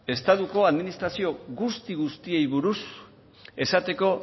estatuko administrazio guzti guztiei buruz esateko